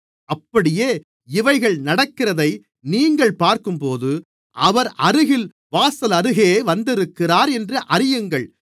அப்படியே இவைகள் நடக்கிறதை நீங்கள் பார்க்கும்போது அவர் அருகில் வாசலருகே வந்திருக்கிறார் என்று அறியுங்கள்